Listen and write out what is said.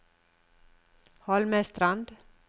Holmestrand